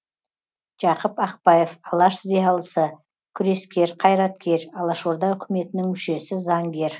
жақып ақбаев алаш зиялысы күрескер қайраткер алашорда үкіметінің мүшесі заңгер